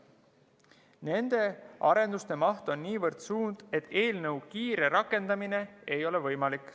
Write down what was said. Nende arenduste maht on niivõrd suur, et eelnõu kiire rakendamine ei ole võimalik.